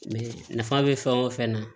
nafa bɛ fɛn o fɛn na